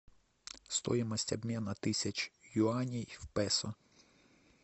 стоимость обмена тысяч юаней в песо